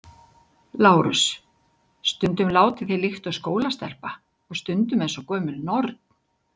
LÁRUS: Stundum látið þér líkt og skólastelpa og stundum eins og gömul norn.